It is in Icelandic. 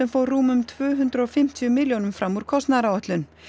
fór rúmum tvö hundruð og fimmtíu milljónum fram úr kostnaðaráætlun